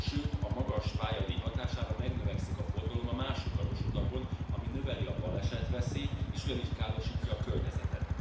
Sőt a magas pályadíj hatására megnövekszik a forgalom a másodlagos utakon, ami növeli a balesetveszélyt és ugyanígy károsítja a környezetet.